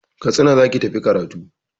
Katsina za ki tafi karatu!